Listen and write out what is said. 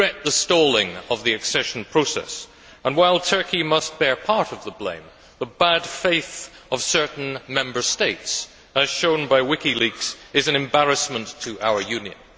We regret the stalling of the accession process and, while Turkey must bear part of the blame, the bad faith of certain Member States as revealed by WikiLeaks is an embarrassment to our Union.